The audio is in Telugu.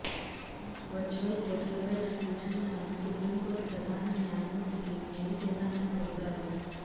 వర్చువల్ కోర్టులపై తన సూచనలను సుప్రీం కోర్టు ప్రధాన న్యాయమూర్తికి మెయిల్ చేశానని తెలిపారు